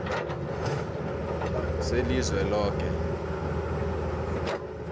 selizweloke